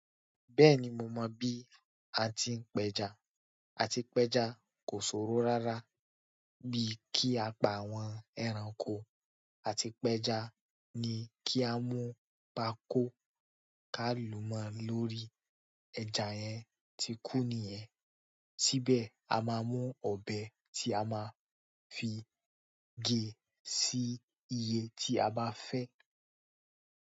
Bẹ́ẹ̀ni mo mọ̀ bí a ti ń péja. Àti pẹja kò ṣòro rárá bí kí a pa àwọn ẹranko àti pẹja ni kí a mú pako ká lu mọ́ lórí ẹja yẹn tí kún nìyẹn, síbẹ̀ a máa mú ọbẹ̀ tí a máa fi ge sí ìyè ti a bá fẹ ẹ.